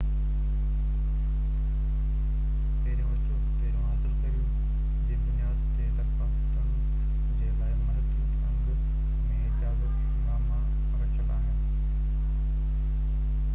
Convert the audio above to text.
پهرين اچو پهرين حاصل ڪريو جي بنياد تي درخواستن جي لاءِ محدود انگ ۾ اجازت ناما رکيل آهن